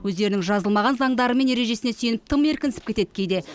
өздерінің жазылмаған заңдары мен ережесіне сүйеніп тым еркінсіп кетеді кейде